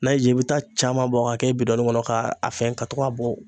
N'a y'i jaa i bɛ taa caman bɔ k'a kɛ bidɔnin kɔnɔ k'a a fɛn ka to ka bɔ.